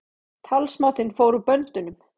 Talsmátinn fór úr böndunum